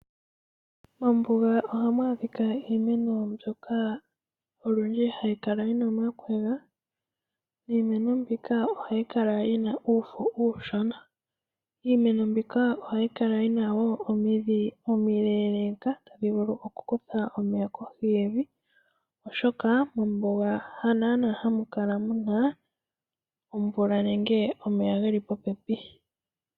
Mombuga ohamu andika iimeno mbyoka hayi kala yi na omakwega niimeno mbika olundji ohayi kala yi na uufo uushona. Iimeno mbika ohayi kala wo yi na omidhi omileeleka tadhi vulu okukutha omeya kohi yevi, oshoka mombuga hanaanaa hamu kala muna omvula nenge omeya geli popepi.